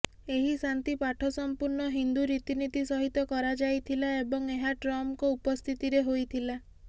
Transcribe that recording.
ଏହି ଶାନ୍ତି ପାଠସମ୍ପୂର୍ଣ୍ଣ ହିନ୍ଦୁ ରୀତିନୀତି ସହିତ କରାଯାଇଥିଲା ଏବଂ ଏହା ଟ୍ରମ୍ପଙ୍କ ଉପସ୍ଥିତିରେ ହୋଇଥିଲା